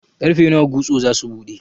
Ƙarfe nawa gusto zasu buɗe?